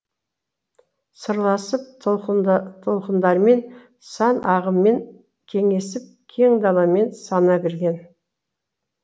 сырласып толқындармен сан ағыммен кеңесіп кең даламен сана берген